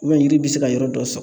yiri bɛ se ka yɔrɔ dɔ sɔgɔ